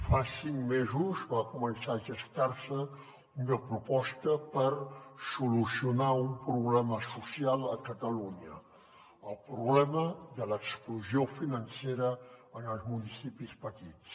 fa cinc mesos va començar a gestar se una proposta per solucionar un problema social a catalunya el problema de l’exclusió financera en els municipis petits